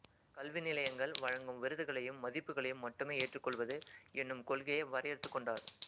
கல்வி நிலையங்கள் வழங்கும் விருதுகளையும் மதிப்புகளையும் மட்டுமே ஏற்றுக் கொள்வது என்னும் கொள்கையை வரையறுத்துக் கொண்டார்